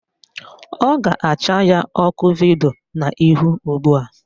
Ọ ga-acha ya ọkụ vidio n'ihu ugbua